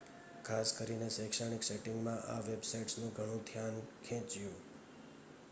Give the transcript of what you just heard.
ખાસ કરીને શૈક્ષણિક સેટિંગમાં આ વેબસાઇટ્સનું ઘણું ધ્યાન ખેચ્યું